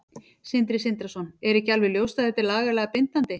Sindri Sindrason: Er ekki alveg ljóst að þetta er lagalega bindandi?